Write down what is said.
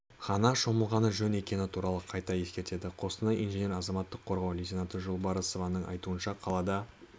ғана шомылғаны жөн екені туралы қайта ескертеді қостанай инженері азаматтық қорғау лейтенанты жолбарысованың айтуынша қалада